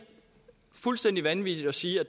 fuldstændig vanvittigt at sige at